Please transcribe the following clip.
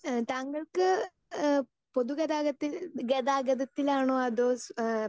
speaker 2 മ് താങ്കൾക്ക് ഏഹ് പൊതുഗതാഗതത്തിൽ ഗതാഗതത്തിലാണോ അതോ ഏഹ്